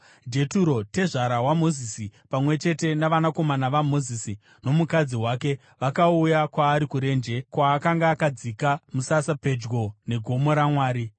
Jeturo, tezvara waMozisi, pamwe chete navanakomana vaMozisi nomukadzi wake, vakauya kwaari kurenje, kwaakanga akadzika musasa pedyo negomo raMwari.